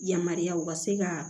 Yamaruya u ka se ka